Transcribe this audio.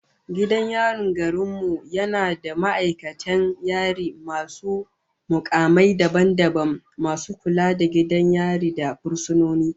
Gidan yarin garin mu yana da ma'aikatan yari masu mukamai daban daban, masu kula da gidan yari da fursunoni